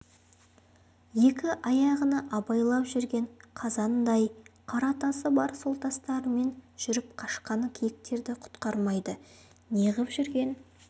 екі аяғына байлап жүрген қазандай қара тасы бар сол тастарымен жүріп қашқан киіктерді құтқармайды неғып жүрген